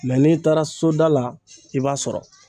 n'i taara soda la i b'a sɔrɔ.